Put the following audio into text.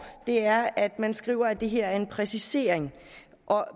er at man skriver at det her er en præcisering og